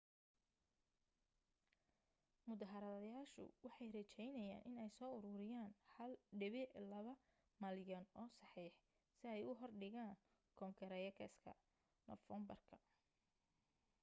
mudaharaadayaashu waxay rejaynayaan inay soo uruuriyaan 1.2 malyan oo saxiix si ay u hor dhigaan koonagreeska noofeembar